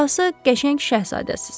İndisə qəşəng şahzadəsiz.